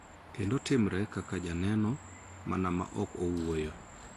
Kendo timre kaka joneno mana ma ok wuoyo.